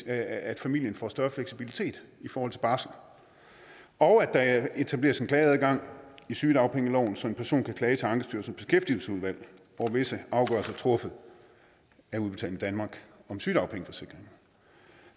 at familien får større fleksibilitet i forhold til barsel og at der etableres en klageadgang i sygedagpengeloven så en person kan klage til ankestyrelsens beskæftigelsesudvalg over visse afgørelser truffet af udbetaling danmark om sygedagpengeforsikring